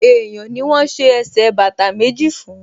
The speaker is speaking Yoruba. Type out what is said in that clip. Èèyàn ni wọ́n ṣe ẹsẹ̀ bàtà méjì fún